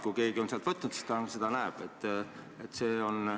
Kui keegi on selle sealt võtnud, siis ta seda näeb.